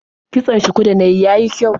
Kitson shukun da na yi ya yi kyau.